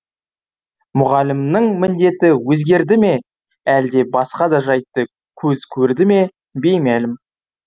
мұғалімнің міндеті өзгерді ме әлде басқа да жайтты көз көрді ме беймәлім